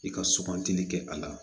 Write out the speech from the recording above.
I ka sugantili kɛ a la